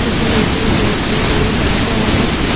জামা কাপড় পাওয়া যায়।